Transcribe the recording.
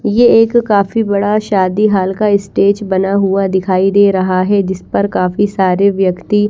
ये एक काफी बड़ा शादी हॉल का स्टेज बना हुआ दिखाई दे रहा है जिसपर काफी सारे व्यक्ति--